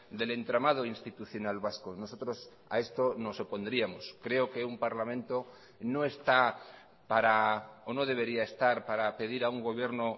del entramado institucional vasco nosotros a esto nos opondríamos creo que un parlamento no está para o no debería estar para pedir a un gobierno